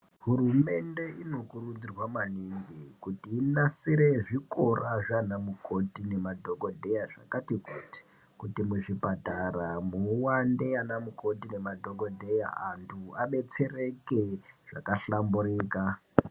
Hurumende inokurudzirwa maningi kuti inasire zvikora zvaanamukoti nemadhogodheya zvakatikuti, kuti muzvipatara muwande anamukoti nemadhogodheya, antu abetsereke zvakahlamburika.